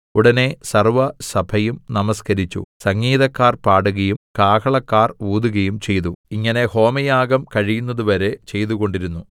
ഉടനെ സർവ്വസഭയും നമസ്കരിച്ചു സംഗീതക്കാർ പാടുകയും കാഹളക്കാർ ഊതുകയും ചെയ്തു ഇങ്ങനെ ഹോമയാഗം കഴിയുന്നതുവരെ ചെയ്തുകൊണ്ടിരുന്നു